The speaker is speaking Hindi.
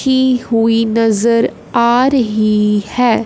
कि हुई नज़र आ रही है।